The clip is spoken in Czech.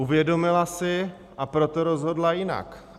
Uvědomila si, a proto rozhodla jinak.